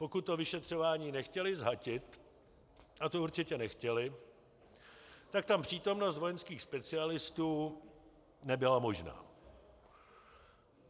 Pokud to vyšetřování nechtěli zhatit, a to určitě nechtěli, tak tam přítomnost vojenských specialistů nebyla možná.